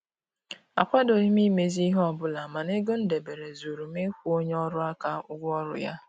Akwadoghị m imezi ihe ọbụla mana ego m debere zuuru m ịkwụ onye ọrụ aka ụgwọ ọrụ ya